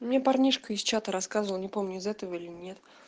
не парнишка из чата рассказывал не помню из этого или нет